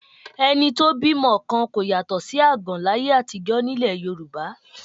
Ẹni tó bímọ kan kò yàtọ̀ sí àgàn láyé àtijọ́ ní ilẹ̀ Yorùbá